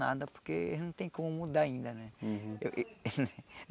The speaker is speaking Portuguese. Nada, porque não tem como mudar ainda, né? Uhum. Eu que